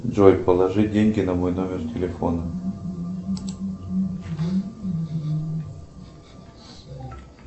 джой положи деньги на мой номер телефона